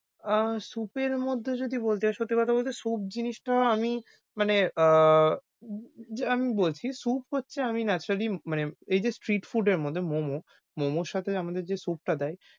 আহ soup এর মধ্যে যদি বলতে হই সত্যি কথা বলতে, soup জিনিসটা আমি মানে আহ আমি বলছি, soup হচ্ছে আমি naturally মানে এইযে street food এর মধ্যে momo, momo সাথে আমাদের যে soup টা দেয়,